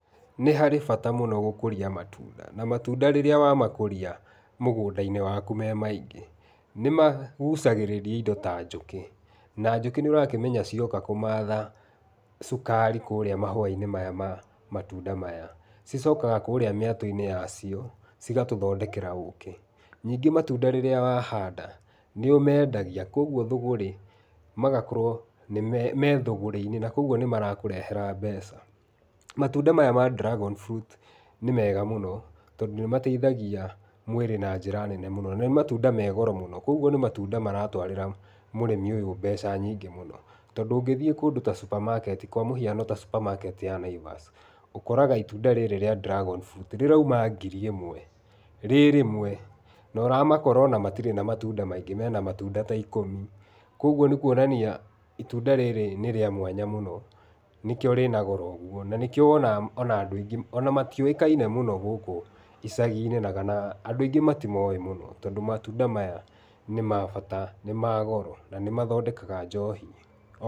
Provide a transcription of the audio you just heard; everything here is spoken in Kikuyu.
Nĩ harĩ bata mũno gũkũria matunda na matunda rĩrĩa wamakũria, mũgũnda-inĩ waku me maingĩ, nĩmagucagĩrĩria indo ta njũkĩ na njũkĩ nĩ ũrakĩmenya cioka kũmatha cukari kũrĩa mahũa-inĩ ma matunda maya cicokaga kũrĩa mĩato-inĩ ya cio cigatũthondekera ũkĩ, ningĩ matunda rĩrĩa wahanda nĩ ũmendagia kwoguo thũgũrĩ, magakorwo me thũgũrĩ-inĩ na kwoguo nĩ marakũrehera mbeca. Matunda maya ma dragon fruit nĩ mega mũno tondũ nĩ mateithagia mwĩrĩ na njĩra nene mũno, nĩ matunda me goro mũno kwoguo nĩ matunda maratwarĩra mũrĩmi ũyũ mbeca nyingĩ mũno tondũ ũngĩthiĩ kũndũ ta supermarket, kwa mũhiaono supermarket ya Naivas ũkoraga itunda rĩrĩ rĩa dragon fruit rĩrauma ngiri ĩmwe, rĩrĩmwe na ũramakora ona matirĩ na matunda maingĩ mena matunda ta ikũmi kwoguo nĩ kwonania itunda rĩrĩa nĩ rĩa mwanya mũno nĩkĩo rĩna goro ũguo, na nĩkĩo wonaga ona andũ aingĩ ona matiũĩkaine gũkũ icagi-inĩ ona kana, andũ aingĩ matimoĩ mũno tondũ matunda maya nĩ mabata na nĩ magoro na nĩ mathondekaga njohi.